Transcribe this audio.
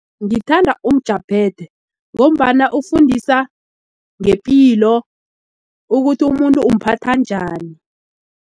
Ngithanda umjaphethe ngombana ufundisa ngepilo ukuthi umuntu umphatha njani.